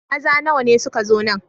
Maza nawa ne suka zo nan?